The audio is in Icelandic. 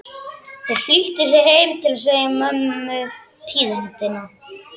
Þær flýttu sér heim til að segja mömmu tíðindin.